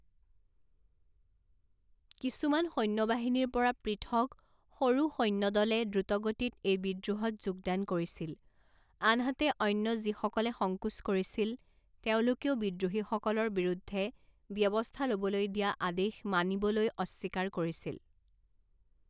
কিছুমান সৈন্যবাহিনীৰ পৰা পৃথক সৰু সৈন্য দলে দ্ৰুতগতিত এই বিদ্ৰোহত যোগদান কৰিছিল, আনহাতে অন্য যিসকলে সংকোচ কৰিছিল তেওঁলোকেও বিদ্ৰোহীসকলৰ বিৰুদ্ধে ব্যৱস্থা ল'বলৈ দিয়া আদেশ মানিবলৈ অস্বীকাৰ কৰিছিল।